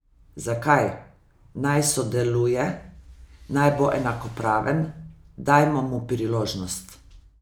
Zakaj, naj sodeluje, naj bo enakopraven, dajmo mu priložnost.